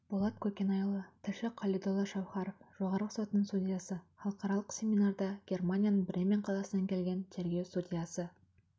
болат көкенайұлы тілші қалидолла шаухаров жоғарғы сотының судьясы халықаралық семинарда германияның бремен қаласынан келген тергеу судьясы